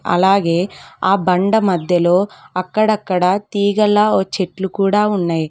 అలాగే ఆ బండ మధ్యలో అక్కడక్కడ తీగలా వచ్చేట్లు కూడా ఉన్నాయి.